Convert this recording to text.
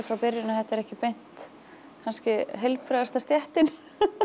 frá byrjun að þetta er ekki beint kannski heilbrigðasta stéttin